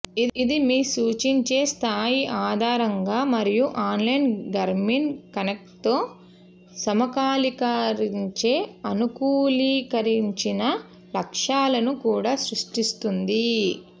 ఇది మీ సూచించే స్థాయి ఆధారంగా మరియు ఆన్లైన్ గర్మిన్ కనెక్ట్తో సమకాలీకరించే అనుకూలీకరించిన లక్ష్యాలను కూడా సృష్టిస్తుంది